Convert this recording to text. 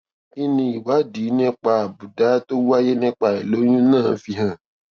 kí ni ìwádìí nípa àbùdá tó wáyé nípa àìlóyún náà fi hàn